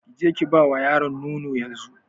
Ki je Ki ba wa yaron nono yanzu.